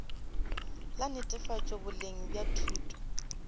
la netefatšo boleng bja thuto